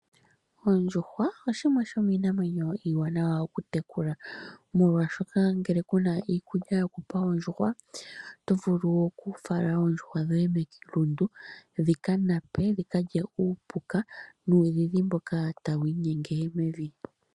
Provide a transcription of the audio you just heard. Oondjuhwa oshimwe shominamwenyo iiwanawa okutekula molwashoka ngele kuna iikulya yokupa oondjuhwa otovulu okufala oondjuhwa dhoye melundu dhika nape dhi ka lye uupuka nuudhidhi mboka tawi inyenge mevi.